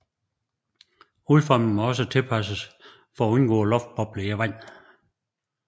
Udformingen må også tilpasses for at undgå luftbobler i vandet